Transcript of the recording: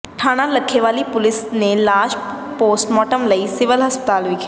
ਥਾਣਾ ਲੱਖੇਵਾਲੀ ਪੁਲਿਸ ਨੇ ਲਾਸ਼ ਪੋਸਟਮਾਰਟਮ ਲਈ ਸਿਵਲ ਹਸਪਤਾਲ ਵਿਖੇ